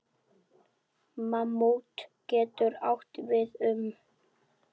Mammút getur átt við um